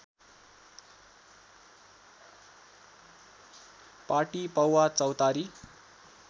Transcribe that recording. पाटी पौवा चौतारी